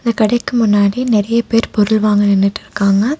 இந்த கடைக்கு முன்னாடி நெறைய பேர் பொருள் வாங்க நின்னுட்டிருக்காங்க.